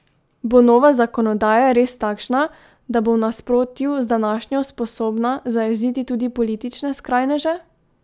Bo nova zakonodaja res takšna, da bo v nasprotju z današnjo sposobna zajeziti tudi politične skrajneže?